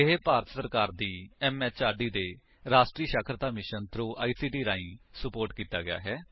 ਇਹ ਭਾਰਤ ਸਰਕਾਰ ਦੀ ਐਮਐਚਆਰਡੀ ਦੇ ਰਾਸ਼ਟਰੀ ਸਾਖਰਤਾ ਮਿਸ਼ਨ ਥ੍ਰੋ ਆਈਸੀਟੀ ਰਾਹੀਂ ਸੁਪੋਰਟ ਕੀਤਾ ਗਿਆ ਹੈ